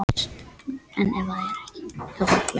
Ísland auðugra en heimalandið